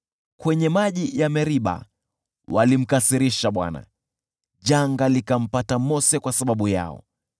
Kwenye maji ya Meriba, walimkasirisha Bwana , janga likampata Mose kwa sababu yao;